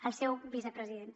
el seu vicepresident